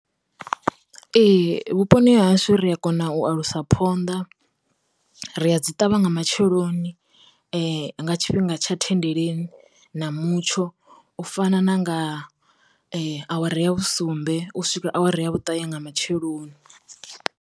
Ee, vhuponi ha hashu ri a kona u a lusa phonḓa, ri a dzi ṱavha nga matsheloni, nga tshifhinga tsha thendeleni na mutsho u fana na nga awara ya vhusumbe, u swika awara ya vhuṱae nga matsheloni.